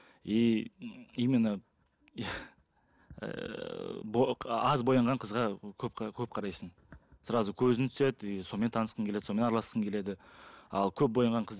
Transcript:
и именно аз боянған қызға көп көп қарайсың сразу көзің түседі и сонымен танысқың келеді сонымен араласқың келеді ал көп боянған қыз